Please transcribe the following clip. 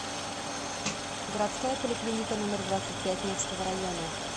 городская поликлиника номер двадцать пять невского района